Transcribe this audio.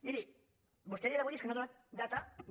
miri vostè a dia d’avui és que no ha donat data de